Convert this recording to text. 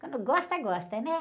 Quando gosta, gosta, né?